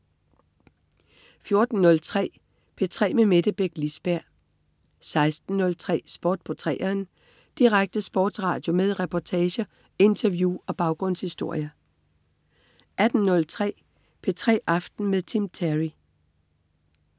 14.03 P3 med Mette Beck Lisberg 16.03 Sport på 3'eren. Direkte sportsradio med reportager, interview og baggrundshistorier 18.03 P3 aften med Tim Terry